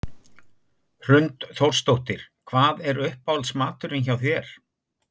Hrund Þórsdóttir: Hvað er uppáhalds maturinn hjá þér?